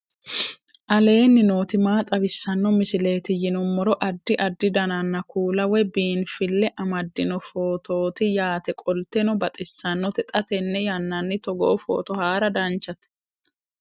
aleenni nooti maa xawisanno misileeti yinummoro addi addi dananna kuula woy biinfille amaddino footooti yaate qoltenno baxissannote xa tenne yannanni togoo footo haara danchate